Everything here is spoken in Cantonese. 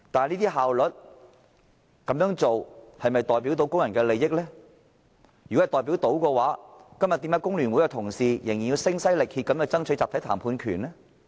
如果效率可以凌駕工人的利益，為何今天工聯會的同事仍然要聲嘶力竭地爭取集體談判權呢？